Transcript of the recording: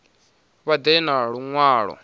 vha ḓe na lu ṅwalo